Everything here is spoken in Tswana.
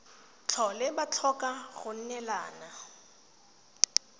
tlhole ba tlhoka go neelana